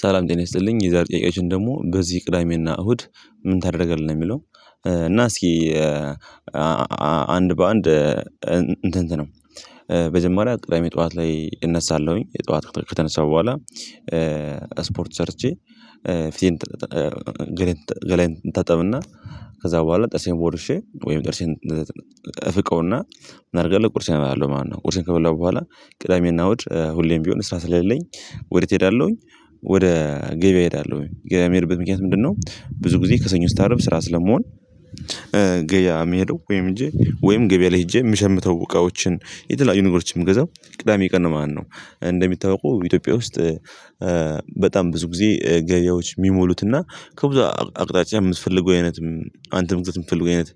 ሰላም ጤና ይስጥልኝ የዛሬ ጥያቅያችን ደግሞ በዚህ ቅዳሜና እሁድ ምን ታደርጋለህ የሚለው? እና እስኪ አንድ በአንድ እንትን ነው በጀማሪያ ቅዳሜ ጠዋት ላይ እነሳለሁኝ የጠዋት ከተነሳሁ በኋላ ስፖርት ሰርቼ ፊቴ ገለኝ ታጠብና ከዛ በኋላ ጥርሴን ቦርሼ ወይም ጥርሴን እፍቀውና ምን አደርጋለው ቁርሴን እባላለው ማለት ነው። ቁርሴን ከበላሁ በኋላ ቅዳሜና እውድ ሁሌም ቢሆን ስራ ስለሌለኝ ወደት እሄዳለሁኝ። ወደ ገበያ እሄዳለሁኝ ገበያ የምሄድበት ምክንያት ምንድነው? ብዙ ጊዜ ከሰኞ እስከ አርብ ስራ ስለመሆን የሚሄደው ወይም ህጄ ወይም ገበያ ላይ ሄጄ የምሸምተው እቃዎችን የተለያዩ ነገሮችን ምገዛው ቅዳሜ ቀን ማለት ነው። እንደሚታወቀው ኢትዮጵያ ውስጥ በጣም ብዙ ጊዜ ገያዎች የሚሞሉትና ከብዙ አቅጣጫ የምትፈልገው አይነት አንተም እንድትፈልገው አይነት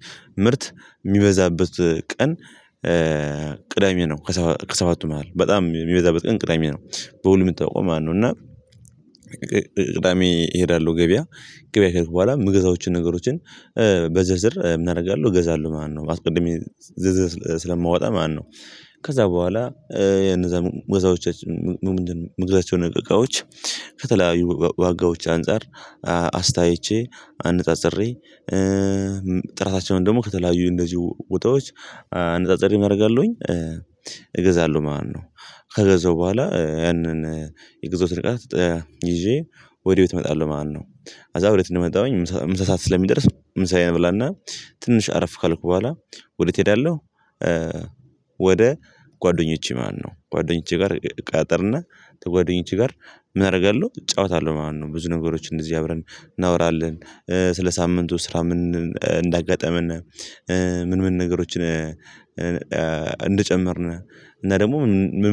ምርት የሚበዛበት ቀን። ቅዳሜ ነው ከሰባቱ መሃል በጣም የሚበዛበት ቀን ቅዳሜ ነው። በሁሉ የሚ ታወቀው ማለት ነው። እና ቅዳሜ እሄዳለሁ ገበያ ገበያ ከሄድኩ በኋላ የምገዛዎችን ነገሮችን በዘዝር ምን አደርጋለሁ እገዛለሁ ማለት ነው። አስቀድሜ ዝርዝር ስለማወጣ ማነው? ከዛ በኋላ የነዛ ወጋዎቻችን ምንድነው ምግዛቸው ነገሮች ከተለያዩ ዋጋዎች አንፃር አስታይቼ አነጻጽሬ ጥራታቸውን ደግሞ ከተለያዩ እንደዚሁ ቦታዎች አንጻጽሬ ምን አደርጋለሁኝ እገዛለሁ ማለት ነው። ከገዛው በኋላ ያንን የገዛሁት እቃት ይዤ ወዴት እመጣለው ማለት ነው። ከዛ ወደ ቤት እንደመጣሁኝ ምሳ ሰዓት ስለሚደርስ ምሳዬን እበላና ትንሽ አረፍ ካልኩ በኋላ ወደየት እሄዳለው? ወደ ጓደኞቼ ማነው ጓደኞቼ ጋር እቃጣጠርና ጓደኞቼ ጋር ምን አደርጋለሁ እጫወታለሁ ማለት ነው። ብዙ ነገሮች እንደዚህ አብረን እናወራለን ስለ ሳምንቱ ስራ ምን እንዳጋጠመን። ምን ምን ነገሮችን እንደጨመርን እና ደግሞ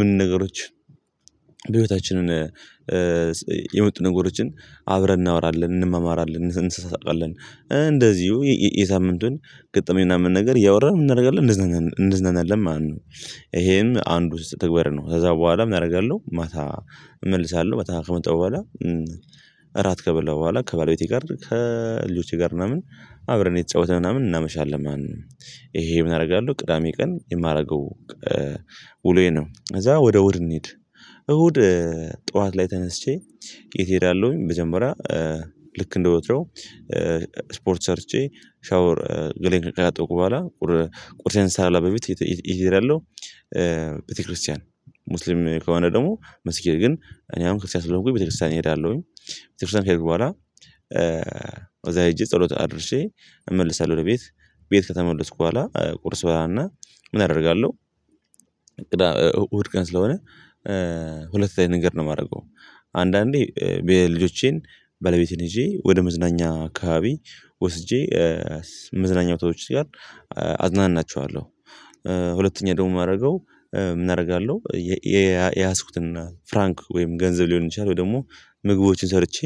ምን ነገሮች በህይወታችን የመጡ ነገሮችን አብረን እናወራለን እንመማራለን እንሳሳቃለን እንደዚሁ የሳምንቱን ገጠመኝ ምናምን ነገር እያወራን ምን እናደርጋለን እንዝናናለን እንዝናናለን ማለት ነው። ይሄም አንድ ውስጥ ተግባር ነው። ከዛ በኋላ ምን አደርጋለሁ ማታ እመልሳለሁ ማታ ከመጣው በኋላ። እራት ከበላሁ በኋላ ከባለቤቴ ጋር ከልጆቼ ጋር ምናምን አብረን እየተጫወተን ምናምን እናመሻለን ማለት ንው። ይሄ ምን አደርጋለሁ ቅዳሜ ቀን የማደርገው ውሎዬ ነው። ከዛ ወደ ወደ እንሂድ። እሁድ ጠዋት ላይ ተነስቼ የት እሄዳለሁኝ መጀመሪያ ልክ እንደወትሮ ስፖርት ሰርቼ ሻወር ገላየን ከተጠብኩ በኋላ ቁርሴን ሳልበላ በፊት የት እሄዳለው? ቤተክርስቲያን ሙስሊም ከሆነ ደግሞ መስጊድ እኔ አሁን ክርስቲያን ስለሆንኩኝ ቤተክርስቲያን እሄዳለሁኝ። ቤተክርስቲያን ከሄድኩ በኋላ ሄጄ ጸሎት አድርሼ እመልሳለሁ ለቤት ቤት ከተመለስኩ በኋላ ቁርስ እበላ እና ምን አደርጋለሁ? እሁድ ቀን ስለሆነ ሁለት ላይ ንገር ነው የማደርገው። አንዳንዴ በልጆቼን ባለቤቴን ሄዤ ወደ መዝናኛ ካባቢ ወስጄ መዝናኛ ቦታዎች ጋር አዝናናቸዋለሁ። ሁለተኛ ደግሞ የማደርገው ምን አደርጋለሁ የያዝኩትና ፍራንክ ወይም ገንዘብ ሊሆን ይችላል። ደግሞ ምግቦችን ሰርቼ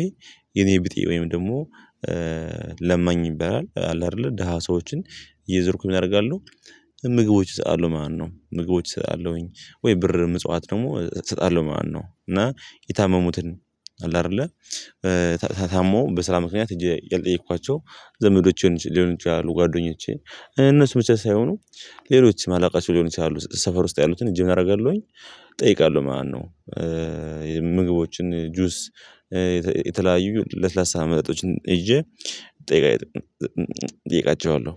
የኔ ብጤ ወይም ደግሞ ለማኝ ይበላል አለ አይደለ ደሃ ሰዎችን እየዞርኩ ምን አደርጋለው? ምግቦች እሰጠለው ማለት ነው። ምግቦች እሰጣለሁኝ ወይ ብር ምጽዋት ደግሞ እሰጣለሁ ማለት ነው። እና የታመሙትን አለ አይደለ ታሞ በስራ ምክንያት እጄ ያልጠየኳቸው ዘመዶቼን ሊሆን ይችላሉ ጓደኞቼን እነሱ ብቻ ሳይሆኑ ሌሎች ማላውቃቸው ሊሆኑ ይችላሉ ሰፈር ውስጥ ያሉትን ህሌ ምን አደርጋለሁኝ? እጠይቃለሁ ማለት ነው። ምግቦችን ጁስ የተለያዩ ለስላሳ መጠጦችን ይዤ እጠይቃቸዋለሁ።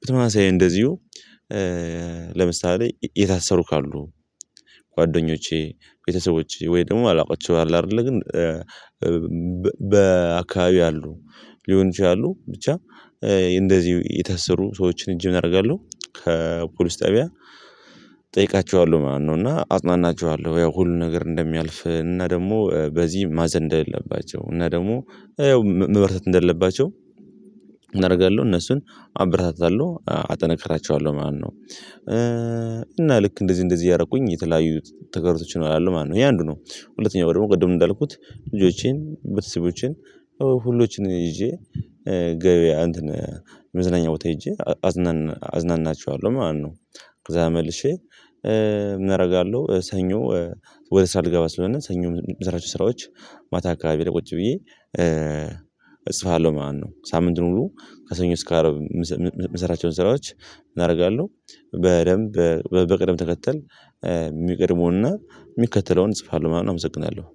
ብተመሳሳይ እንደዚሁ ለምሳሌ የታሰሩ ካሉ ጓደኞቼ ቤተሰቦቼ ወይ ደግሞ ማላውቃቸው አሉ አይደለ ግን በአካባቢው አሉ ሊሆን ይችላሉ ብቻ እንደዚህ የታሰሩ ሰዎችን ህጄ ምን አደርጋለሁ? ከፖሊስ ጠቢያ እጠይቃቸዋለሁ ማለት ነው። እና አጽናናቸዋለሁ ያው ሁሉ ነገር እንደሚያልፍ እና ደግሞ በዚ ማዘን እንደሌለባቸው እና ደግሞ ያው መበርታት እንደሌለባቸው ምን አደርጋለሁ እነሱን አበረታታለሁ አጠናክራቸዋለሁ ማለት ነው። እና ልክ እንደዚህ እንደዚህ እያረኩኝ የተለያዩ ተግባሮችም ያሉት ማነው? ይሄ አንዱ ነው። ሁለተኛው ደግሞ ቅድም እንዳልኩት ልጆቼን ቤተሰቦቼን ሁሎችን ይዤ ገበያ እንትን መዝናኛ ቦታ ሄጄ አዝናና አዝናናቸዋለሁ ማነው? ከዛ መልሼ እምረጋለሁ ሰኞ ወደ ስራ ልገባ ስለሆነ ሰኞ የምሰራቸው ስራዎች ማታ አካባቢ ላይ ቁጭ ብዬ እጽፋለሁ ማለት ነው። ሳምንቱን ሁሉ ከሰኞ እስከ አረብ የምሰራቸውን ስራዎች ምን አደርጋለሁ? በደንብ በቅደም ተከተል የሚቀድመውና የሚከተለውን እጽፋለሁ ምናምን አመሰግናለሁ።